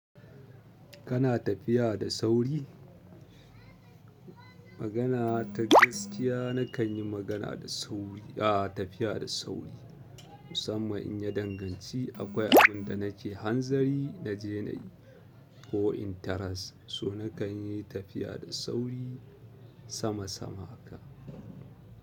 Kana tafiya da sauri? Magana ta gaskiya nakan yi magana da sauri. A tafiya da sauri. Musamman in ya danganci akwai abin da nake hanzari na je na yi ko in taras so nakan yi tafiya da sauri sama sama haka.